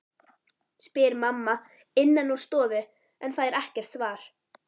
spyr mamma innan úr stofu en fær ekkert svar.